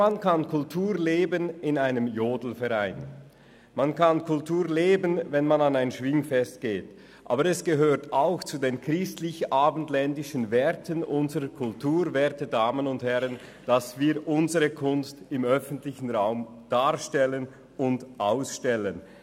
Man kann Kultur in einem Jodelverein oder bei der Teilnahme an einem Schwingfest leben, aber es gehört auch zu den christlich-abendländischen Werten unserer Kultur, werte Damen und Herren, dass wir unsere Kunst im öffentlichen Raum darstellen und ausstellen.